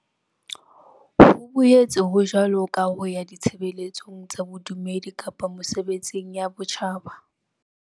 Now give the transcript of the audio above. Ho boetse ho jwalo ka ho ya ditshebeletsong tsa bodumedi kapa mesebetsing ya botjhaba.